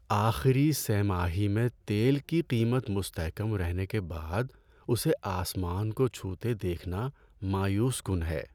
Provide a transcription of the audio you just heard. آخری سہ ماہی میں تیل کی قیمت مستحکم رہنے کے بعد اسے آسمان کو چھوتے دیکھنا مایوس کن ہے۔